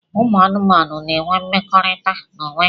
Ụmụ anụmanụ n'enwe mmekọrịta n'onwe ha.